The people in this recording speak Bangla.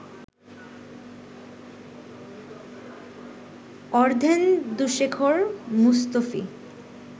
অর্ধেন্দুশেখর মুস্তফী